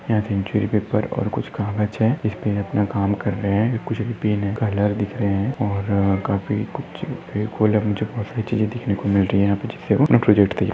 Paper है और कुछ काम बचे है असपे अपना काम कर रहे है कुछ पिंक कलर दिख रहे है और काफी कुछ देखने को मिल रहे है। --